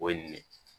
O ye nin ye